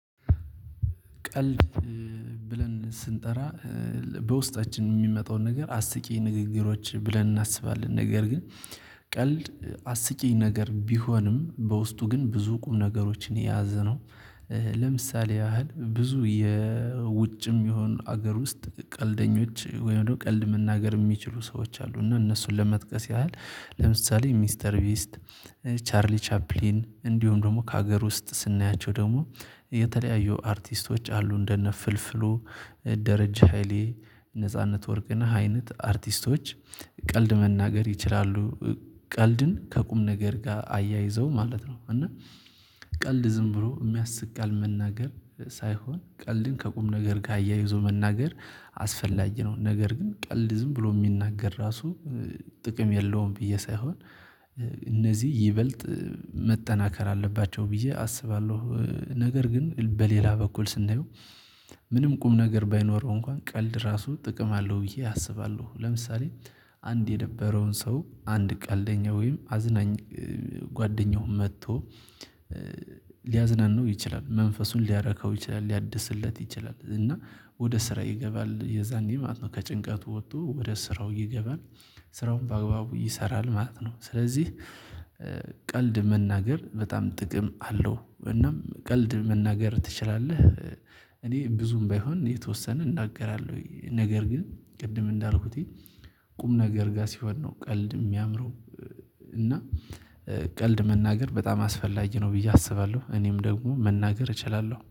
ቀልድ ብለን ስንጠራ በውስጣችን የሚመጣውን ነገር አስቂ ንግግሮች ብለን እናስባለን ነገር ግን ቀልድ አስቂኝ ነገር ቢሆንም በውስጡ ግን ብዙ ቁም ነገሮችን የያዘ ነው። ለምሳሌ ያህል ብዙ የውጭም ይሁን ሀገር ውስጥ ቀልደኞች ወይም ደግሞ ቀልድ መናገር የሚችሉ ሰዎች አሉ። እና እነሱን ለመጥቀስ ያህል ለምሳሌ ሚስተር ቢስት ቻርሊ ቻፕሊን እንዲሁም ደግሞ ከሀገር ውስጥ ስናያቸው ደግሞ የተለያዩ አርቲስቶች አሉ እንደነ ፍልፍሉ ደረጃ ሃይሌ ነጻነት ወርቅና አይነት አርቲስቶች ቀልድ መናገር ይችላሉ። ቀልድን ከቁም ነገር ጋር አያይዘው ማለት ነው። እና ቀልድ ዝም ብሎ የሚያስቅ ቃል መናገር ሳይሆን ቀልድን ከቁም ነገር ጋር አያይዞ መናገር አስፈላጊ ነው። ነገር ግን ቀልድ ዝም ብሎ የሚናገር ራሱ ጥቅም የለውም ብዬ ሳይሆን። እነዚህ ይበልጥ መጠናከር አለባቸው ብዬ አስባለሁ። ነገር ግን በሌላ በኩል ስናየው ስንየው ምንም ቁም ነገር ባይኖረው እንኳን ቀልድ ራሱ ጥቅም አለው ብዬ አስባለሁ። ለምሳሌ አንድ የነበረውን ሰው አንድ ቀልደኛ ወይም አዝናኝ ጓደኛውን መጥቶ ሊያዝናናው ይችላል መንፈሱን ሊያረካው ይችላል ሊያድስለት ይችላል እና ወደ ስራ ይገባል የዛኔ ማለት ነው ከጭንቀቱ ወጥቶ ወደ ስራው ይገባል። ስራውን በአግባቡ ይሰራል ማለት ነው። ስለዚህ ቀልድ መናገር በጣም ጥቅም አለው። እናም ቀልድ መናገር ትችላለህ? እኔ ብዙም ባይሆን የተወሰነ እናገራለሁ ነገር ግን ቅድም እንዳልኩት ቁም ነገር ጋር ሲሆን ነው ቀልድ የሚያምረው። እና ቀልድ መናገር በጣም አስፈላጊ ነው ብዬ አስባለሁ። እኔም ደግሞ መናገር እችላለሁ